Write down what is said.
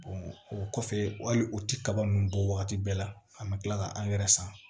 o kɔfɛ hali u ti kaba ninnu bɔ wagati bɛɛ la an bɛ tila ka angɛrɛ san